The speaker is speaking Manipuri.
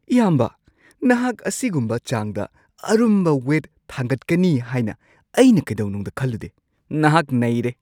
ꯏꯌꯥꯝꯕꯥ! ꯅꯍꯥꯛ ꯑꯁꯤꯒꯨꯝꯕ ꯆꯥꯡꯗ ꯑꯔꯨꯝꯕ ꯋꯦꯠ ꯊꯥꯡꯒꯠꯀꯅꯤ ꯍꯥꯏꯅ ꯑꯩꯅ ꯀꯩꯗꯧꯅꯨꯡꯗ ꯈꯜꯂꯨꯗꯦ, ꯅꯍꯥꯛ ꯅꯩꯔꯦ!!